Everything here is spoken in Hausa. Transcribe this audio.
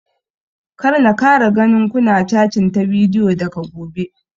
Kar na kara ganin ku na catin ta bidiyo daga gobe!